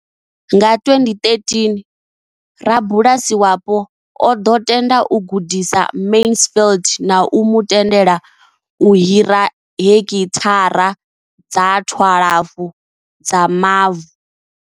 Nga 2013, rabulasi wapo o ḓo tenda u gudisa Mansfield na u mu tendela u hira heki thara dza 12 dza mavu.